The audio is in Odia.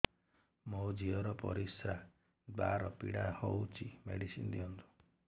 ମୋ ଝିଅ ର ପରିସ୍ରା ଦ୍ଵାର ପୀଡା ହଉଚି ମେଡିସିନ ଦିଅନ୍ତୁ